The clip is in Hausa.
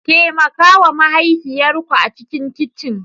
Taimaka wa mahaifiyar ku a cikin kicin!